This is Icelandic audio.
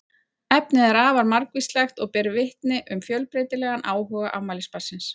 Efnið er afar margvíslegt og ber vitni um fjölbreytilegan áhuga afmælisbarnsins.